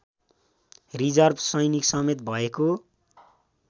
reserve सैनिक समेत भएको